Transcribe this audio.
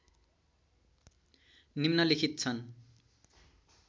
निम्नलिखित छन्